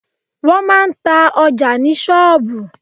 Wọ́n máa ń ta ọjà ní sọ́ọ̀bù.